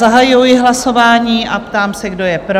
Zahajuji hlasování a ptám se, kdo je pro?